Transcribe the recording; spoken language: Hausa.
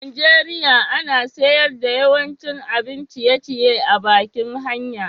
a'Nijeriya ana sayar da yawancin abin ciye-ciye a'bakin hanya.